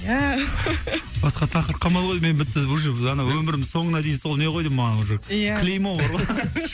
басқа тақырып қалмаған ғой деймін мен бітті уже ана өмірімнің соңына дейін сол не ғой деймін маған уже иә клеймо бар ғой